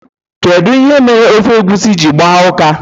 Kedu ihe mere ofe egusi ji gba uka?